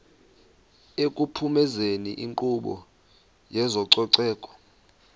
ekuphumezeni inkqubo yezococeko